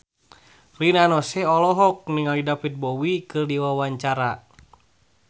Rina Nose olohok ningali David Bowie keur diwawancara